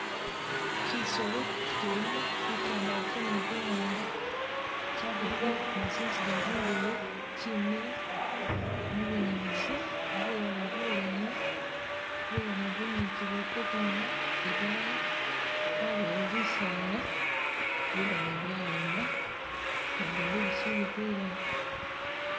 Kyisolo kyilimo bitandalafu ni biwanga kyabako ni zinziga zindeyi, kyimile mubunyaasi bulala buleyi bulala bunyipi buliko bwoma, idaayi yabayo bisaala bilala byayoma nabindi bikyili bilayi.